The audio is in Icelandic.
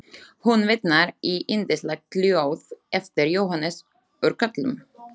Hún vitnar í yndislegt ljóð eftir Jóhannes úr Kötlum: